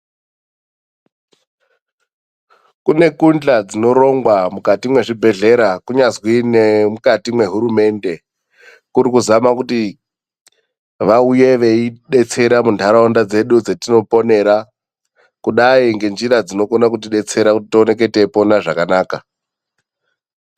Kune kuhla dzinorongwa mukati mezvibhedhlera kunyazwi nemukati mehurumende. Kuri kuzama kuti vauye veidetsera mundaraunda dzedu dzetinoponera kudai nenzira dzokwanisa kuti detsera kudai tipone zvakanaka.